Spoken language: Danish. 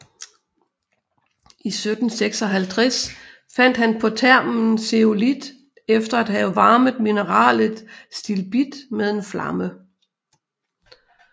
I 1756 fandt han på termen zeolit efter at have varmet mineralet stilbit med en flamme